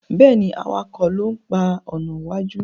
Béèni awakọ̀ ló ń pá iná wájú.